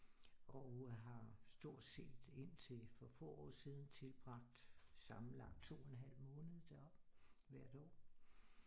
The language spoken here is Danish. Og har stort set indtil for få år siden tilbragt sammenlagt 2,5 måned deroppe hvert år